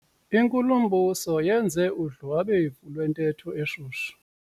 Inkulumbuso yenze udlwabevu lwentetho eshushu.